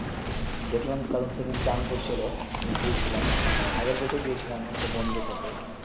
দেখলাম কারন সেই দিন চান করছিলো গিয়েছিলাম আগের বছর গিয়েছিলাম আমদের বন্ধুর সাথে